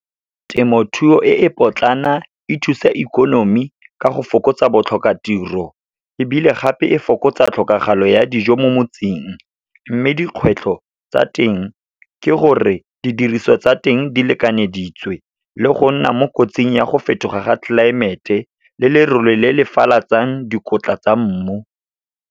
Temothuo e e potlana, e thusa ikonomi ka go fokotsa botlhokatiro, ebile gape e fokotsa tlhokagalo ya dijo mo motseng. Mme dikgwetlho tsa teng, ke gore didiriswa tsa teng di lekanyeditswe, le go nna mo kotsing ya go fetoga ga tlelaemete, le lerole le le falatsang dikotla tsa mmu.